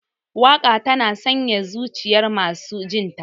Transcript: Waka tana sanyaya zujiyar masu jinta.